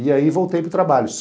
E aí voltei para o trabalho.